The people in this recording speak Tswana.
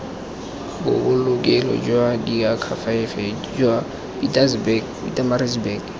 bobolokelo jwa diakhaefe jwa pietermaritzburg